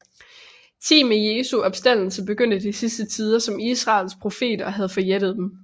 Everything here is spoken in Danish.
Thi med Jesu opstandelse begyndte de sidste tider som Israels profeter havde forjættet dem